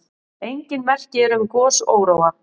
Engin merki eru um gosóróa.